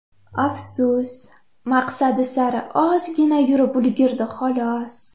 Afsus, maqsadi sari ozgina yurib ulgurdi, xolos.